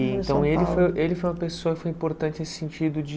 Então ele foi ele foi uma pessoa que foi importante nesse sentido de...